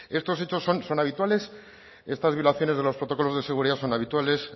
estos hechos son habituales estas violaciones de los protocolos de seguridad son habituales